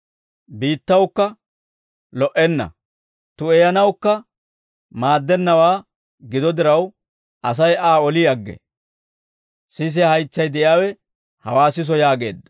Biittawukka lo"enna; tu'eyanawukka maaddennawaa gido diraw, Asay Aa oli aggee. Sisiyaa haytsay de'iyaawe hawaa siso» yaageedda.